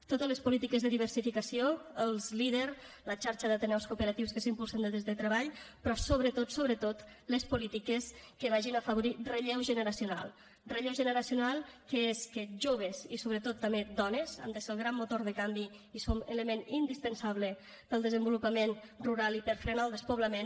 totes les polítiques de diversificació els leader la xarxa d’ateneus cooperatius que s’impulsen des de treball però sobretot sobretot les polítiques que vagin a afavorir relleu generacional relleu generacional que és que joves i sobretot també dones han de ser el gran motor de canvi i són element indispensable per al desenvolupament rural i per a frenar el despoblament